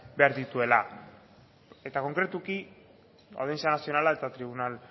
behar dituela eta konkretuki audientzia nazionala eta tribunal